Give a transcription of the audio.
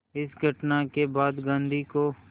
इस घटना के बाद गांधी को